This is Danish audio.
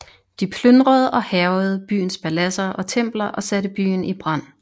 De plyndrede og hærgede byens paladser og templer og satte byen i brand